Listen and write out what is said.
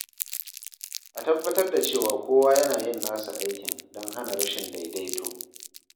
A tabbatar da cewa kowa yana yin nasa aikin don hana rashin daidaito.